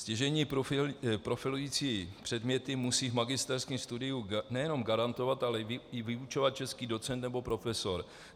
Stěžejní profilující předměty musí v magisterském studiu nejenom garantovat, ale i vyučovat český docent nebo profesor.